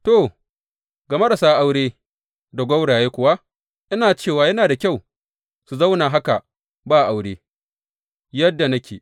To, ga marasa aure da gwauraye kuwa ina cewa yana da kyau su zauna haka ba aure, yadda nake.